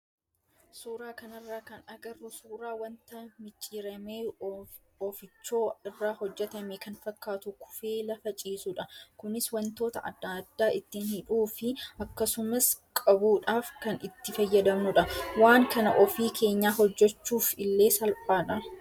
Suuraa kanarraa kan agarru suuraa wanta micciiramee oofichoo irraa hojjatame kan fakkaatu kufee lafa ciisudha. Kunis wantoota adda addaa ittiin hidhuu fi akkasumas qabuudhaaf kan itti fayyadamnudha. Waan kana ofii keenyaa hojjachuuf illee salphaadha.